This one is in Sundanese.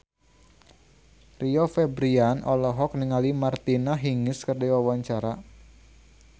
Rio Febrian olohok ningali Martina Hingis keur diwawancara